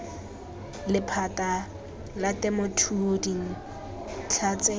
lephata la temothuo dintlha tse